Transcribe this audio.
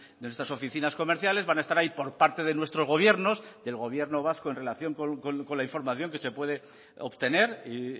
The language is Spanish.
de nuestras oficinas comerciales van a estar ahí por parte de nuestros gobiernos del gobierno vasco en relación con la información que se puede obtener y